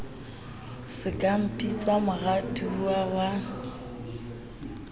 se ka mpitsa moratuwa wa